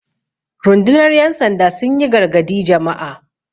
rundunar yansanda sun yi gargadi Jama'a